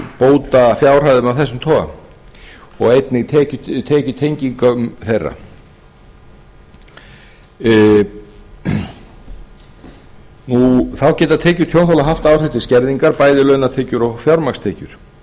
bótafjárhæðum af þessum toga og einnig tekjutengingum þeirra þá geta tekjur tjónþola haft áhrif til skerðingar bæði launatekjur og fjármagnstekjur